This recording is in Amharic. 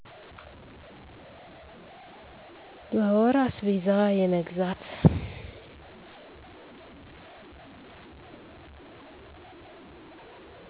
በወር አስቤዛ የመግዛት